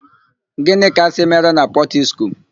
Gịnị ka a sị mere na Pọtiskum?